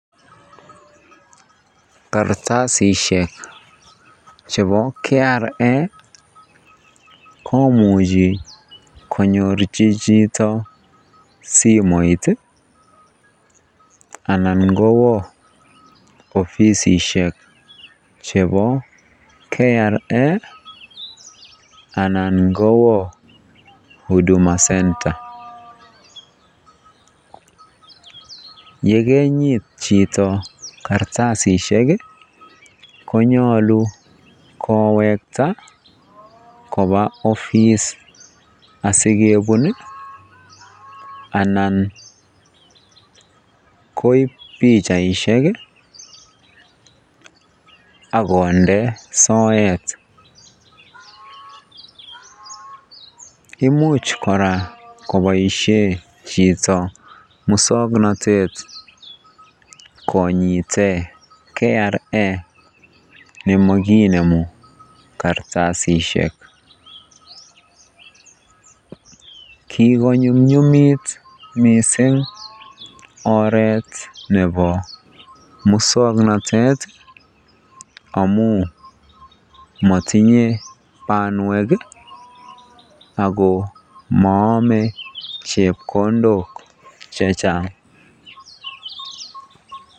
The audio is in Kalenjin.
Kartasishek chebo KRA komuchi konyorchi chito simoit anan ko kowoo ofisishek chebo KRA anan kowoo huduma center, yekenyit chito kartasishek konyolu kowekta koba ofis asikebun anan koib pichaishek ak konde soet, imuch kora koboishen chito muswoknotet konyiten KRA nemokinemu kartasishek, kikonyumnyumit mising oreet nebo muswoknotet amun motinye bonwek ak ko moome chepkondok chechang.